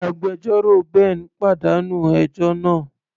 Agbẹjọ́rò Ben pàdánù ẹjọ́ náà.